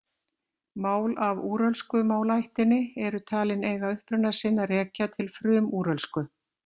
Mál af úrölsku málaættinni eru talin eiga uppruna sinn að rekja til frumúrölsku.